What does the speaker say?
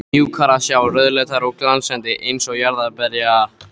mjúkar að sjá, rauðleitar og glansandi, eins og jarðarberja